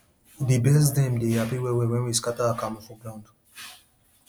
di birds dem dey happy wellwell when we scatter akamu for ground